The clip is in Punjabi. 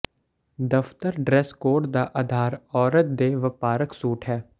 ਦਫ਼ਤਰ ਡ੍ਰੈਸ ਕੋਡ ਦਾ ਆਧਾਰ ਔਰਤ ਦੇ ਵਪਾਰਕ ਸੂਟ ਹੈ